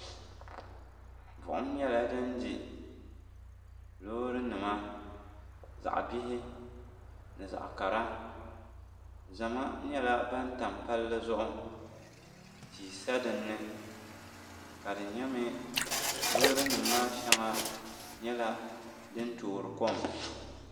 Buɣum nyɛla din di loorinima zaɣ'bihi ni zaɣ'kara zama nyɛla ban tam palli zuɣu tia sa dini ka di nyɛmi loorinima maa shɛŋa nyɛla din toori kom.